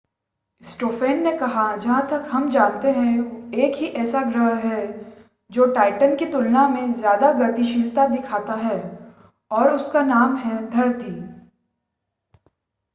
Stoffen ने कहा जहां तक हम जानते हैं एक ही ऐसा ग्रह है जो टाइटन की तुलना में ज़्यादा गतिशीलता दिखाता है और उसका नाम है धरती